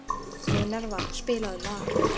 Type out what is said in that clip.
Minerva, spilaðu lag.